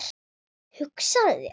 Hugsaðu þér.